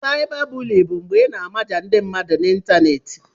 Cybabully bụ mgbe ị na-amaja ndi mmadu n'ịntanetị.